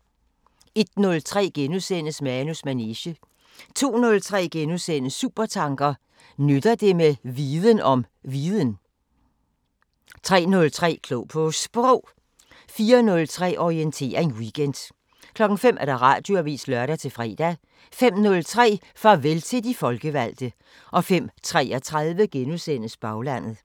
01:03: Manus manege * 02:03: Supertanker: Nytter det med viden om viden? * 03:03: Klog på Sprog 04:03: Orientering Weekend 05:00: Radioavisen (lør-fre) 05:03: Farvel til de folkevalgte 05:33: Baglandet *